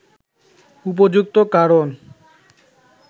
উপযুক্ত কারণ